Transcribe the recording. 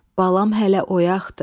Balam hələ oyaqdır.